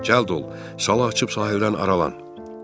Cəld ol, sala açıb sahildən aralan."